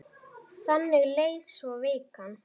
Þannig leið svo vikan.